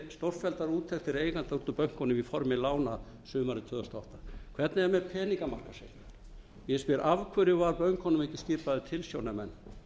stórfelldar úttektir eigenda út úr bönkunum í formi lána sumarið tvö þúsund og átta hvernig er með peningamarkaðssjóðina ég spyr af hverju voru bönkunum ekki skipaði tilsjónarmenn